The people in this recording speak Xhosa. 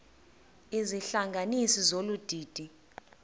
izihlanganisi zolu didi